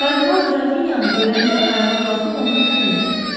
Kardinal Qrafinyanı görəndə ayağa qalxıb onun əlindən öpdü.